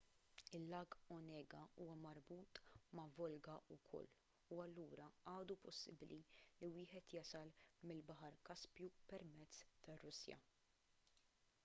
il-lag onega huwa marbut ma' volga wkoll u allura għadu possibbli li wieħed jasal mill-baħar kaspju permezz tar-russja